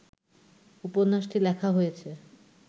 উপন্যাটি লেখা হয়েছে